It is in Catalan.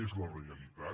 és la realitat